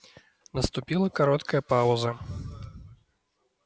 наступила короткая пауза